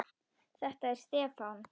Þetta er Stefán.